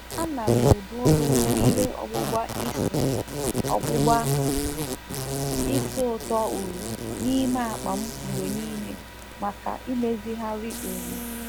Ana m ebu obere ihe ọgbụbá ísì ọgbụbá ísì ūtọ uri n'ime akpa m mgbe niile maka imezigharị uri.